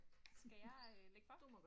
Skal jeg øh lægge for?